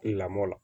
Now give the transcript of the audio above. Lamɔ la